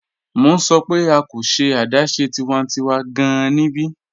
Mọ̀ n sọ̀ pẹ̀ a kò ṣẹ̀ adáṣẹ̀ tiwàntíwà gáàn níbí.